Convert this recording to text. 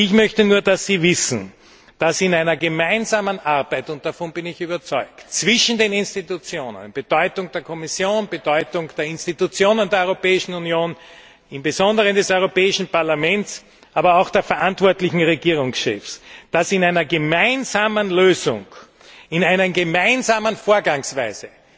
Ich möchte nur, dass Sie wissen, dass ich davon überzeugt bin, dass in einer gemeinsamen Arbeit zwischen den Institutionen Bedeutung der Kommission, Bedeutung der Institutionen der Europäischen Union, im Besonderen des Europäischen Parlaments und den verantwortlichen Regierungschefs, dass in einer gemeinsamen Lösung, in einer gemeinsamen Vorgangsweise